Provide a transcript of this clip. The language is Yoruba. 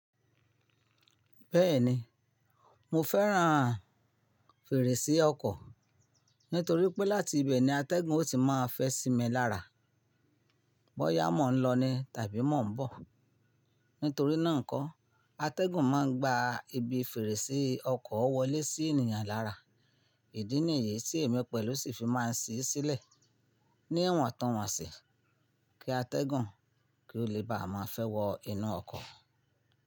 Bẹ́ẹ̀ni, mo fẹ́ràn fèrèsé ọkọ̀ nítorí pé láti ibẹ̀ ni atẹ́gùn ó ti máa fẹ́ sí mi lára. Bọ́ ya mọ̀ ń lọ ni tàbí mọ̀ ń bọ̀. Nítorí náà nkọ́, atẹ́gùn máa ń gba ibi fèrèsé ọkọ̀ wọlé sí ènìyàn lára. Ìdí nìyí tí èmi pẹ̀lú ṣì fi máa ṣí sílẹ̀ ní iwọ̀n tun wọn sí, kí atẹ́gùn kí ó lè bá a máa fẹ́ wọ inú ọkọ̀.